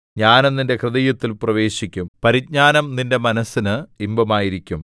ജ്ഞാനം നിന്റെ ഹൃദയത്തിൽ പ്രവേശിക്കും പരിജ്ഞാനം നിന്റെ മനസ്സിന് ഇമ്പമായിരിക്കും